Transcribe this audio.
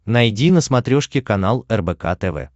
найди на смотрешке канал рбк тв